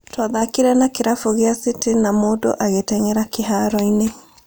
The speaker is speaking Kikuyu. Twathakire na kĩrabu gĩa City na mũndũ agĩteng'era kĩharoo-inĩ